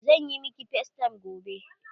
Zan yi miki facetime gobe.